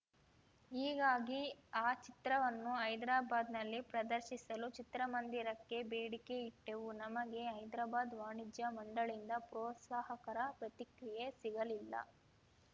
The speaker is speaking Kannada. ಹೀಗಾಗಿ ಆ ಚಿತ್ರವನ್ನು ಹೈದರಾಬಾದ್‌ನಲ್ಲಿ ಪ್ರದರ್ಶಿಸಲು ಚಿತ್ರಮಂದಿರಕ್ಕೆ ಬೇಡಿಕೆ ಇಟ್ಟೆವು ನಮಗೆ ಹೈದರಾಬಾದ್‌ ವಾಣಿಜ್ಯಮಂಡಳಿಯಿಂದ ಪ್ರೋತ್ಸಾಹಕರ ಪ್ರತಿಕ್ರಿಯೆ ಸಿಗಲಿಲ್ಲ